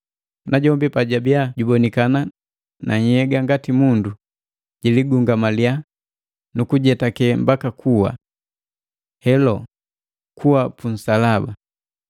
Najombi pajabiya jubonikana na nhyega ngati mundu, jiligungamaliya, nukujetake mbaka kuwa: Helo, kuwa punsalaba!